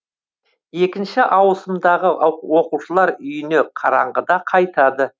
екінші ауысымдағы оқушылар үйіне қараңғыда қайтады